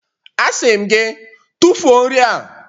Asị m gị, tụfuo nri a!